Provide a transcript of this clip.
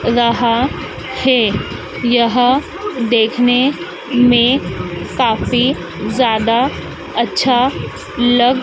रहा हैं यह देखने में काफी ज्यादा अच्छा लग--